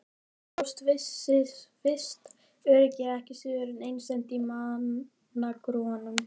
Það fólst visst öryggi ekki síður en einsemd í manngrúanum.